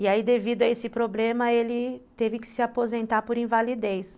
E aí, devido a esse problema, ele teve que se aposentar por invalidez.